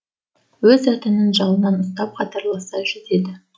өзі атының жалынан ұстап қатарласа жүзеді